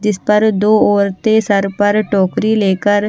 इस पर दो औरतें सर पर टोकरी लेकर--